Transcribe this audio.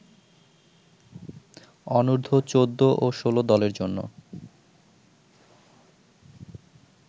অনুর্ধ-১৪ ও ১৬ দলের জন্য